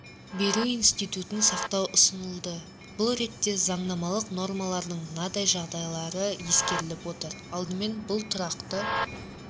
беру институтын сақтау ұсынылды бұл ретте заңнамалық нормалардың мынадай жағдайлары ескеріліп отыр алдымен бұл тұрақты